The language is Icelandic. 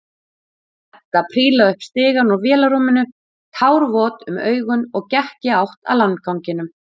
Edda prílaði upp stigann úr vélarrúminu, tárvot um augun og gekk í átt að landganginum.